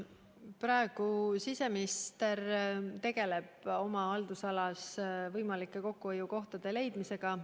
Praegu tegeleb siseminister oma haldusalas võimalike kokkuhoiukohtade leidmisega.